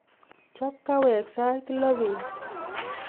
chop kaaweg sait loo beet